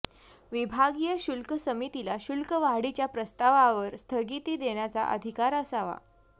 विभागीय शुल्क समितीला शुल्क वाढीच्या प्रस्तावावर स्थगिती देण्याचा अधिकार असावा